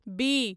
B